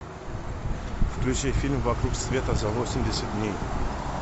включи фильм вокруг света за восемьдесят дней